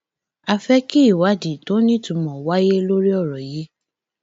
a fẹ kí ìwádìí tó nítumọ wáyé lórí ọrọ yìí